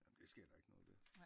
Nej men det sker der ikke noget ved